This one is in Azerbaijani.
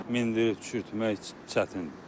Mindirib düşürtmək çətindir.